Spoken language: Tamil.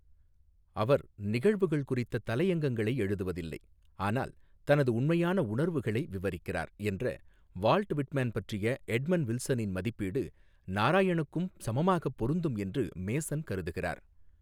அவர் நிகழ்வுகள் குறித்த தலையங்கங்களை எழுதுவதில்லை, ஆனால் தனது உண்மையான உணர்வுகளை விவரிக்கிறார், என்ற வால்ட் விட்மேன் பற்றிய எட்மண்ட் வில்சனின் மதிப்பீடு, நாராயணுக்கும் சமமாகப் பொருந்தும் என்றும் மேசன் கருதுகிறார்.